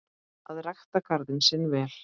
Að rækta garðinn sinn vel.